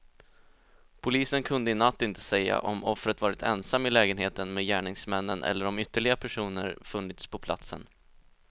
Polisen kunde i natt inte säga om offret varit ensam i lägenheten med gärningsmännen eller om ytterligare personer funnits på platsen.